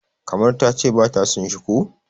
kamar ta ce ba ta son shi ko?